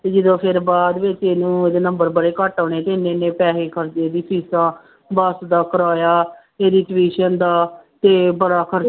ਤੇ ਜਦੋਂ ਫਿਰ ਬਾਅਦ ਵਿੱਚ ਇਹਨੂੰ ਇਹਦੇ number ਬੜੇ ਘੱਟ ਆਉਣੇ ਤੇ ਇੰਨੇ ਇੰਨੇ ਪੈਸੇ ਖਰਚੇ ਇਹਦੀ ਫੀਸਾਂ, ਬਸ ਦਾ ਕਿਰਾਇਆ, ਇਹਦੀ tuition ਦਾ ਤੇ ਬੜਾ ਖਰ